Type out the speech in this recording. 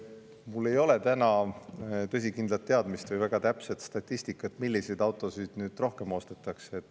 Mul ei ole täna tõsikindlat teadmist või väga täpset statistikat, milliseid autosid nüüd rohkem ostetakse.